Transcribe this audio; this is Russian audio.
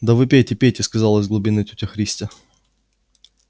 да вы пейте пейте сказала из глубины тётя христя